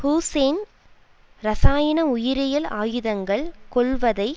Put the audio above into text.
Hussein இரசாயன உயிரியல் ஆயுதங்கள் கொள்வதை